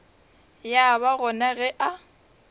ya ba gona ge a